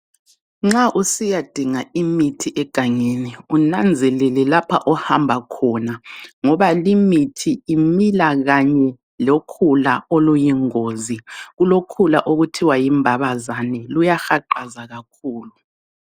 Nxa usiyadunga imithi egangeni unanzelele lapha ohamba khona ngoba limithi imila kanye lokhula oluyingozi, kulokhula okuthiwa yimbabazane luyahaqaza kakhulu.